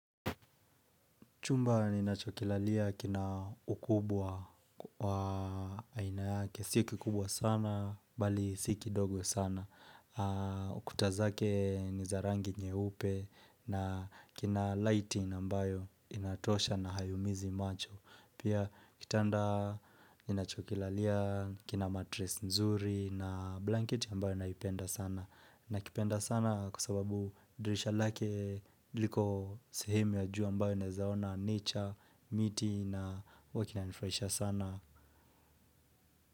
Chumba ninachokilalia kina ukubwa wa aina yake. Si kikubwa sana, bali si kidogo sana. Ukuta zake ni zarangi nyeupe na kina lighting ambayo inatosha na haiumizi macho. Pia kitanda ninachokilalia, kina matress nzuri na blanket ambayo naipenda sana. Nakipenda sana kwa sababu dirisha lake liko sehemu ya juu ambayo naeza ona nature, miti na huwa kina nifurahisha sana.